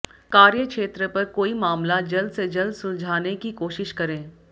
कार्यक्षेत्र पर कोई मामला जल्द से जल्द सुलझाने की कोशिश करें